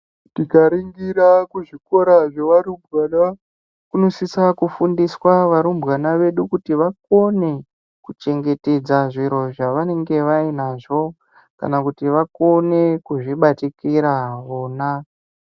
Tikaringira kuzvikora zvavarumbwana kunosisa kufundiswa varumbwana vedu kuti vakone kuchengetedza zviro zvavanenge vainazvo kana kuti vakone kuzvibatikira vona .